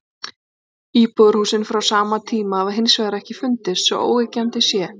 Íbúðarhúsin frá sama tíma hafa hins vegar ekki fundist svo óyggjandi sé.